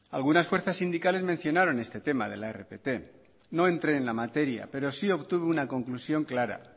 algunas fuerzas sindicales mencionaron este tema de la rpt no entré en la materia pero sí obtuve una conclusión clara